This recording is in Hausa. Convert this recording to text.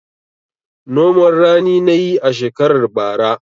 Noman rani na yi a shekarar bara.